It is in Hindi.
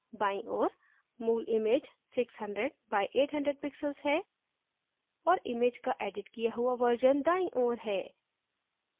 बाईं ओर मूल image है 600 by 800 pixels है और image का एडिट किया हुआ version दाईं ओर है